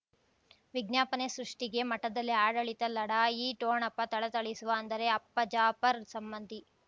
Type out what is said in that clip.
ವಿಜ್ಞಾಪನೆ ಸೃಷ್ಟಿಗೆ ಮಠದಲ್ಲಿ ಆಡಳಿತ ಲಢಾಯಿ ಠೋಣಪ ಥಳಥಳಿಸುವ ಅಂದರೆ ಅಪ್ಪ ಜಾಫರ್ ಸಂಬಂಧಿ